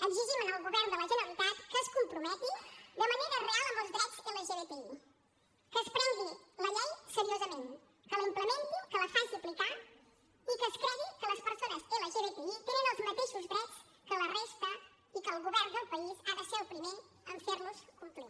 exigim al govern de la generalitat que es comprometi de manera real amb els drets lgtbi que es prengui la llei seriosament que la implementi que la faci aplicar i que es cregui que les persones lgtbi tenen els mateixos drets que la resta i que el govern del país ha de ser el primer en fer los complir